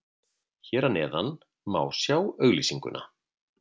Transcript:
Hér að neðan má sjá auglýsinguna.